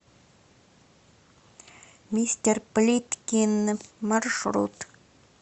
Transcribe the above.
мистер плиткин маршрут